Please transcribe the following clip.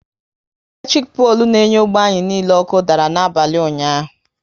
Eletirik polu n'enye ógbè anyị niile ọkụ dara n'abalị ụnyaahụ